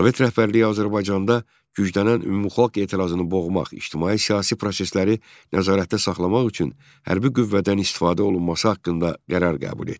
Sovet rəhbərliyi Azərbaycanda güclənən ümumxalq etirazını boğmaq, ictimai-siyasi prosesləri nəzarətdə saxlamaq üçün hərbi qüvvədən istifadə olunması haqqında qərar qəbul etdi.